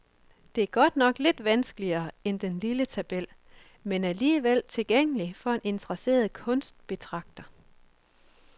Den er godt nok lidt vanskeligere end den lille tabel, men alligevel tilgængelig for en interesseret kunstbetragter.